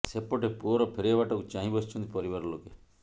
ସେପଟେ ପୁଅର ଫେରିବା ବାଟକୁ ଚାହିଁ ବସିଛନ୍ତି ପରିବାର ଲୋକେ